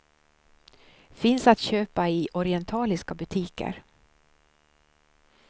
Finns att köpa i orientaliska butiker.